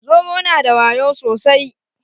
Zomo na da wayo sosai